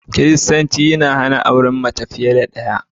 Kiristanci ya hana auren mace fiye da ɗaya